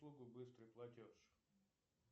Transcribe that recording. услугу быстрый платеж